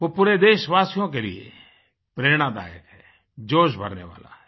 वो पूरे देशवासियों के लिए प्रेरणादायक हैं जोश भरने वाला है